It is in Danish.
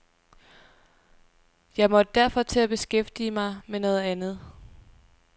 Jeg måtte derfor til at beskæftige mig med noget andet.